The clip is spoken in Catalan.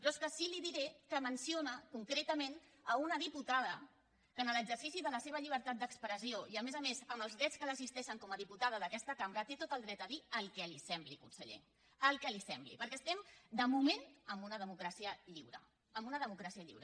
però és que sí que li di·ré que menciona concretament una diputada que en l’exercici de la seva llibertat d’expressió i a més a més amb els drets que l’assisteixen com a diputada d’aquesta cambra té tot el dret a dir el que li sembli conseller el que li sembli perquè estem de moment en una democràcia lliure en una democràcia lliure